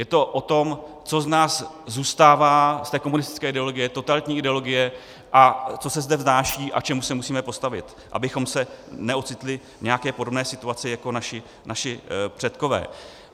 Je to o tom, co z nás zůstává, z té komunistické ideologie, totalitní ideologie a co se zde vznáší a čemu se musíme postavit, abychom se neocitli v nějaké podobné situaci jako naši předkové.